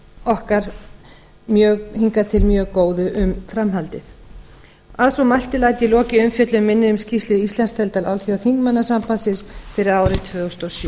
okkar hingað til mjög góðu um framhaldið að svo mæltu læt ég lokið umfjöllun minni um skýrslu íslandsdeildar alþjóðaþingmannasambandsins fyrir árið tvö þúsund og sjö